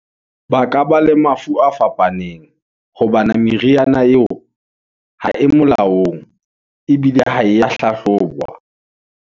Ba ka ba le mafu a fapaneng, hobana meriana yeo , ha e molaong, ebile ha e ya hlahlobwa.